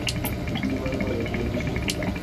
Itinye boiboyet iyomishei